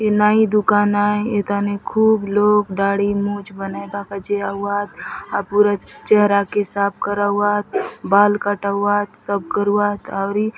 ये नाई दुकान आय एथाने खूब लोग दाढ़ी मुछ बनाय बा काजे आउआत पूरा चेहरा के साफ कराउआत बाल कटाउआत सब करुआत आउरी --